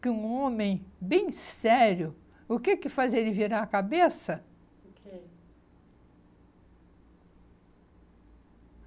que um homem bem sério, o que que faz ele virar a cabeça? O que?